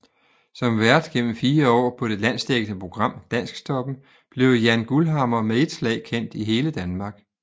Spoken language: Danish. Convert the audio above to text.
Som vært gennem 4 år på det landsdækkende program Dansktoppen blev Jann Guldhammer med et slag kendt i hele Danmark